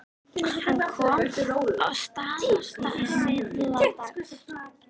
Hann kom að Staðarstað síðla dags.